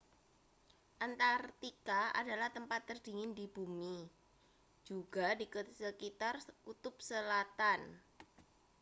antarktika adalah tempat terdingin di bumi juga di sekitar kutub selatan